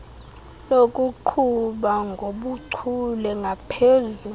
lokuqhuba ngobuchule ngaphezu